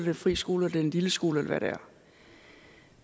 en fri skole det er en lilleskole eller hvad det er